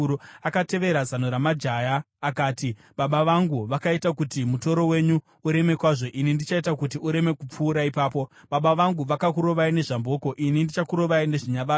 akatevera zano ramajaya akati, “Baba vangu vakaita kuti mutoro wenyu ureme kwazvo; ini ndichaita kuti ureme kupfuura ipapo. Baba vangu vakakurovai nezvamboko; ini ndichakurovai nezvinyavada.”